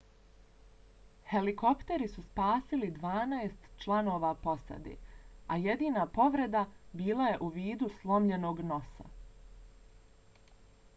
helikopteri su spasili dvanaest članova posade a jedina povreda bila je u vidu slomljenog nosa